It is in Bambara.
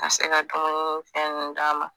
A se ka dumunifɛn ninnu d'a ma